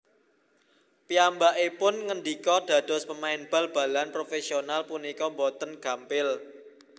Piyambakipun ngendika Dados pemain bal balan profèsional punika boten gampil